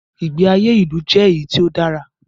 Ìgbé ayé ilu jẹ́ èyí tí o dára.